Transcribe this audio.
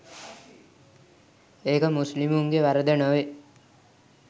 ඒක මුස්ලිමුන්ගේ වරද නොවේ.